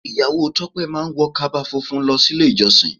Ìyàwó to pé má ń wọ kaba funfun lọ sí ilé ìjọsìn.